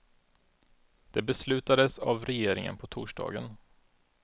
Det beslutades av regeringen på torsdagen.